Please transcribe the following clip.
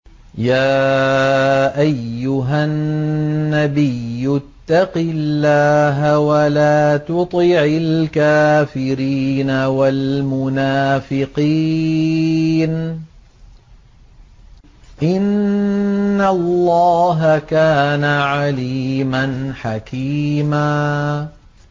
يَا أَيُّهَا النَّبِيُّ اتَّقِ اللَّهَ وَلَا تُطِعِ الْكَافِرِينَ وَالْمُنَافِقِينَ ۗ إِنَّ اللَّهَ كَانَ عَلِيمًا حَكِيمًا